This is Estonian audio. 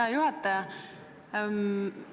Hea juhataja!